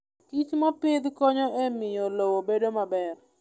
Kich mopidh konyo e miyo lowo obed maber.